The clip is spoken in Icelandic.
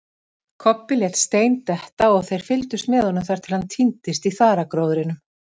Kobbi lét stein detta og þeir fyldust með honum þar til hann týndist í þaragróðrinum.